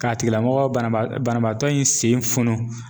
K'a tigilamɔgɔ banabaa banabaatɔ in sen funun